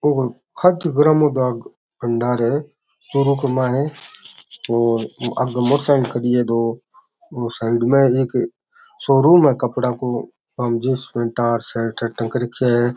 ओ कोई खाकी खाकी ग्रामो डाक भंडार है चूरू के मायने है और आगे मोटर साइकिल खड़ी है दो और साइड में एक शोरूम है कपडा को बा में जीन्स पेंट शर्ट टंग रख्या है।